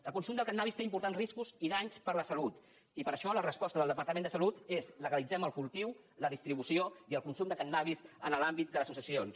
el consum del cànnabis té importants riscos i danys per a la salut i per això la resposta del departament de salut és legalitzem el cultiu la distribució i el consum de cànnabis en l’àmbit de les associacions